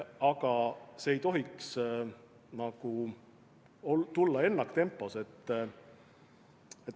Aga see ei tohiks toimuda ennaktempos.